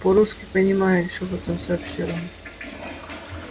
по-русски понимаю шёпотом сообщил он